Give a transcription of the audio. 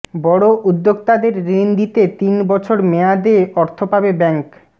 বড় উদ্যোক্তাদের ঋণ দিতে তিন বছর মেয়াদে অর্থ পাবে ব্যাংক